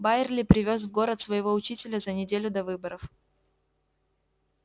байерли привёз в город своего учителя за неделю до выборов